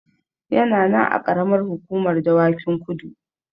Yana nan a Ƙaramar Hukumar Dawakin Kudu.